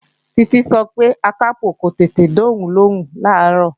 Títí sọ pé Akápò ò tètè dá òun lóhùn làárọ̀